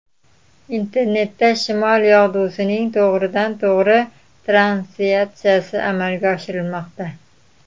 Internetda shimol yog‘dusining to‘g‘ridan to‘g‘ri translyatsiyasi amalga oshirilmoqda.